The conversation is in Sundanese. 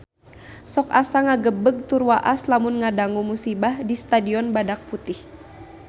Sok asa ngagebeg tur waas lamun ngadangu musibah di Stadion Badak Putih